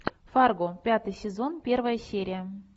фарго пятый сезон первая серия